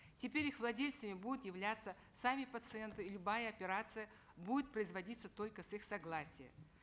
теперь их владельцами будут являться сами пациенты и любая операция будет производиться только с их согласия